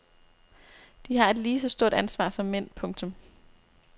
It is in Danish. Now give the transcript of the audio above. De har et lige så stort ansvar som mænd. punktum